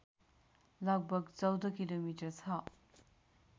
लगभग १४ किलोमिटर छ